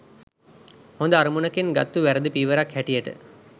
හොඳ අරමුණකින් ගත්තු වැරදි පියවරක් හැටියට